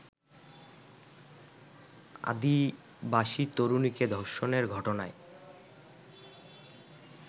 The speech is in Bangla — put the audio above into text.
আদিবাসী তরুণীকে ধর্ষণের ঘটনায়